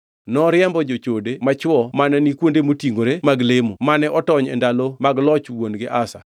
Noriembo jochode machwo mane ni kuonde motingʼore mag lemo mane otony e ndalo mag loch wuon-gi Asa.